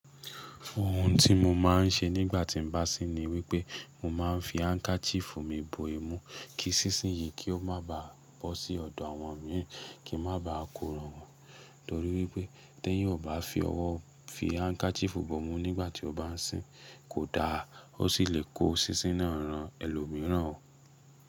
Ohun tí mo máa ń ṣe nígbà tí n bá sín ni wípé mo ma ń fi handkerchief mi bò imú kí sísín yìí kí ó má baà bọ́ sí ọ̀dọ̀ àwọn mi kí n má baà kò ràn wọ́n. Torí wípé tí eeyan ò bá fi ọwọ́ fi handkerchief bo imú nígbà tí ó bá n sín, kò da. Ó sì lè kó sísín náà ran ẹlòmíràn o.